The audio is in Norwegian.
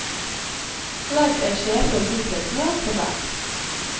Legg et skjefull hvitløksmør på hver.